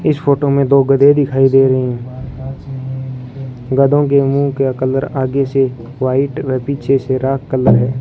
इस फोटो में दो गधे दिखाई दे रहे हैं गधों के मुंह के कलर आगे से वाइट और पीछे से राख कलर है।